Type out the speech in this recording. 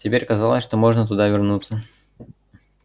теперь казалось что можно туда вернуться